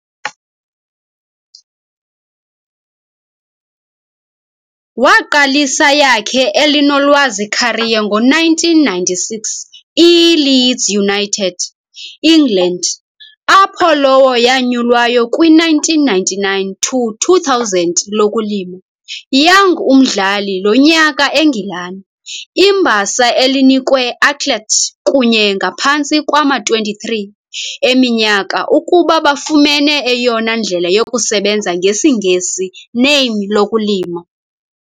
Waqalisa yakhe elinolwazi career ngo-1996 e Leeds United, England, apho lowo yanyulwayo kwi-1999-2000 lokulima, young umdlali lonyaka Engilane, i-mbasa elinikwe athlete kunye ngaphantsi kwama-23 eminyaka ukuba bafumene eyona ndlela yokusebenza ngesingesi name lokulima.